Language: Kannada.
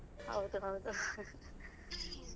ಹೌದು ಹೌದು.